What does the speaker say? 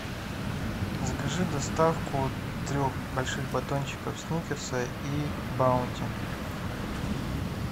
закажи доставку трех больших батончиков сникерса и баунти